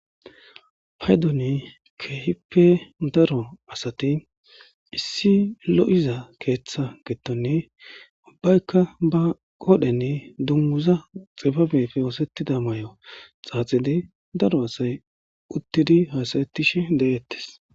Payidoni kehipe darro asati issi loyiza ketha gidon ubayika ba qodheni dunguza xufe osetida mayo xaxidi daro assayi utid hasayetishe deyesi